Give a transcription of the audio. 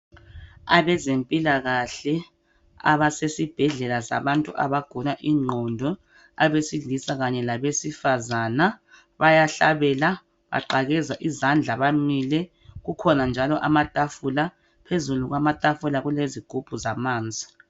Abezempilakahle abasesibhedlela sabantu abagula ingqondo abesilisa labesifazana bayahlabela. baqakeza izandla njalo bamile. Kukhona njalo amatafula. Phezulu kwamatafula kulezigubhu zamanzi.